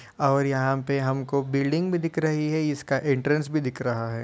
और यहाँ पे हमको बिल्डिंग बी दिख रही है। इसका एंट्रेंस बी दिख रहा है।